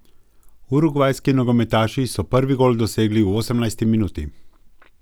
Urugvajski nogometaši so prvi gol dosegli v osemnajsti minuti.